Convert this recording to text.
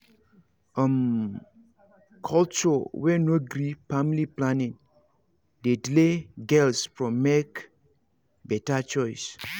um culture wey no gree family planning dey delay girls from make better choice